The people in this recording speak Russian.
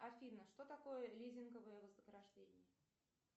афина что такое лизинговое вознаграждение